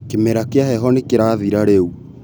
Kĩmera kĩa heho nĩkĩrathira rĩu